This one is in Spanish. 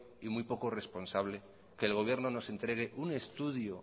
y muy poco responsable que el gobierno nos entregue un estudio